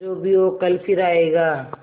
जो भी हो कल फिर आएगा